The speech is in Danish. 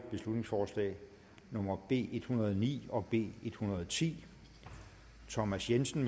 beslutningsforslag nummer b en hundrede og ni og b en hundrede og ti thomas jensen